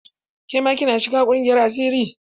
Ke ma kin shiga ƙungiyar asiri?